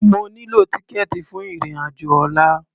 Mo nílò tíkẹ̀ẹ̀tì fún ìrìn-àjò ọlla.